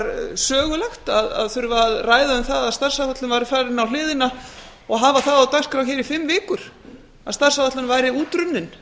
var sögulegt að þurfa að ræða um það að starfsáætlun væri farin á hliðina og hafa það á dagskrá hér í fimm vikur að starfsáætlunin væri útrunnin